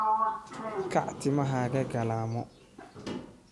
Kaac timahaaga galamoo.